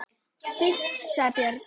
Fínt, sagði Björn.